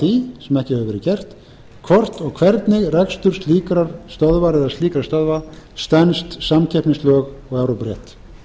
því sem ekki hefur verið gert hvort og hvernig rekstur slíkrar stöðvar eða slíkra stöðva stenst samkeppnislög og evrópurétt